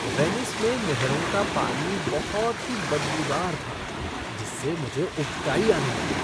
Venice में नहरों का पानी बहुत ही बदबूदार था जिससे मुझे उबकाई आने लगी।